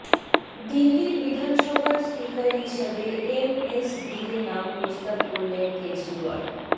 দিল্লির বিধানসভার স্পিকার হিসাবে এম এস ধীরে নাম প্রস্তাব করলেন কেজরিওয়াল